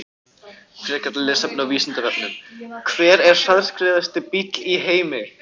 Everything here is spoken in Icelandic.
Frekara lesefni á Vísindavefnum: Hver er hraðskreiðasti bíll í heimi?